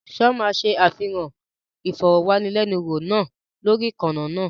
Ṣé wọ́n máa ṣe àfihàn ìfọ̀rọ̀wánilẹ́niwò náà lórí ìkànnì náà?